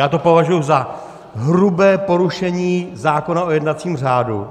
Já to považuji za hrubé porušení zákona o jednacím řádu